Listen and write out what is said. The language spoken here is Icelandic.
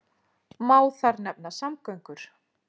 Má þar nefna samgöngur.